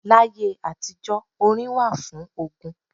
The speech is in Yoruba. Láyé àtijó, orin wà fún ogun.